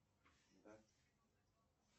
да